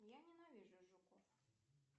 я ненавижу жуков